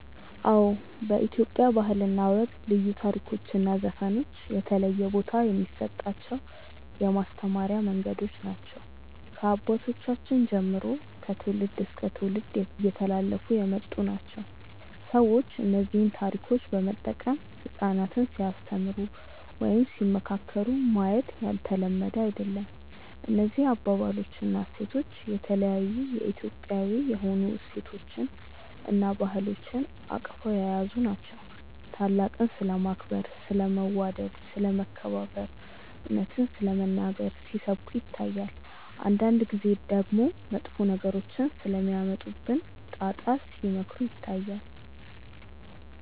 አዎ በኢትዮጵያ ባህል እና ወግ ልዩ ታሪኮች እና ዘፈኖች የተለየ ቦታ የሚሰጣቸው የማስተማሪያ መንገዶች ናቸው። ከአባቶቻችን ጀምሮ ከትውልድ እስከ ትውልድ እየተላለፉ የመጡ ናቸው። ሰዎች እነዚህን ታሪኮች በመጠቀም ህጻናትን ሲያስተምሩ ወይም ሲመካከሩ ማየት ያልተለመደ አይደለም። እነዚህ አባባሎች እና ታሪኮች የተለያዩ የኢትዮጵያዊ የሆኑ እሴቶችን እና ባህሎችን አቅፈው የያዙ ናቸው። ታላቅን ስለማክበር፣ ስለ መዋደድ፣ ስለ መከባበር፣ እውነትን ስለመናገር ሲሰብኩ ይታያል። አንዳንድ ጊዜ ደግሞ መጥፎ ነገሮች ስለሚያመጡብን ጣጣ ሲመክሩ ይታያሉ።